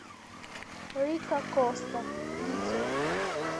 рико коста видео